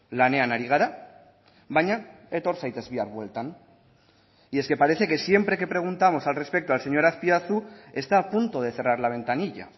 lanean ari gara baina etor zaitez bihar bueltan y es que parece que siempre que preguntamos al respecto al señor azpiazu está a punto de cerrar la ventanilla